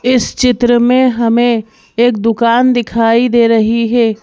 इस चित्र में हमें एक दुकान दिखाई दे रही है।